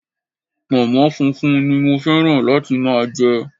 Pònmó funfun ni mo féràn láti máa je